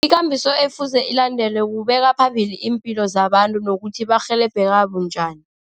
Ikambiso efuze ilandelwe kubeka phambili iimpilo zabantu nokuthi barhelebheka bunjani.